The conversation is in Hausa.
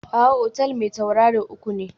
A'a, otal mai tauraro uku ne